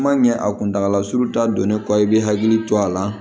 Kuma ɲɛ a kuntagala surun ta don ne kɔ i be hakili to a la